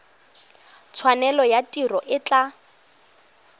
tshwanelo ya tiro e tla